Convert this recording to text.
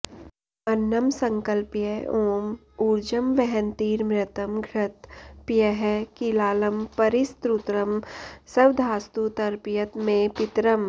अन्नं सङ्कल्प्य ॐ ऊर्जं वहन्तीरमृतं घृत पयः कीलालं परिस्त्रुतं स्वधास्तु तर्पयत मे पितरम्